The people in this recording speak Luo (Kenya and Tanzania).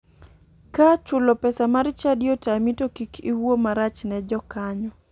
Ka chulo pesa mar chadi otami to kik iwuo marach ne jokanyo.